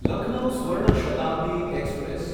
Lucknow Swarna Shatabdi express